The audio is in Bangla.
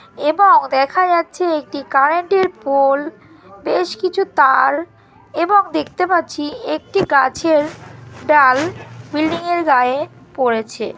এবং দেখা যাচ্ছে একটি কারেন্ট -এর পোল বেশ কিছু তার এবং দেখতে পাচ্ছি একটি গাছের ডাল বিল্ডিং -এর গায়ে পরেছে ।